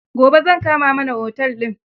Gobe zan kama mana otel din.